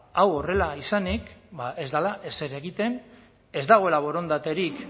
ba hau horrela izanik ez dela ezer egiten ez dagoela borondaterik